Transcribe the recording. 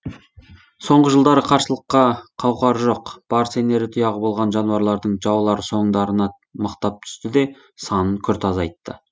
соңғы жылдары қарсылыққа қауқары жоқ бар сенері тұяғы болған жануарлардың жаулары соңдарына мықтап түсті де санын күрт азайтты